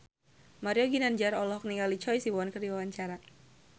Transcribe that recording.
Mario Ginanjar olohok ningali Choi Siwon keur diwawancara